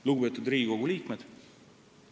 Lugupeetud Riigikogu liikmed!